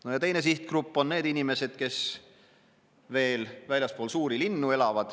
No ja teine sihtgrupp on need inimesed, kes endiselt veel elavad väljaspool suuri linnu.